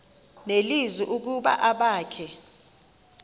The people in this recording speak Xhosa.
nelizwi ukuba abakhe